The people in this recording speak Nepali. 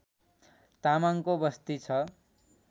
तामाङको बस्ती छ